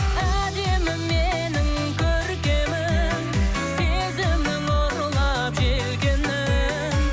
әдемім менің көркемім сезімнің ұрлап желкенін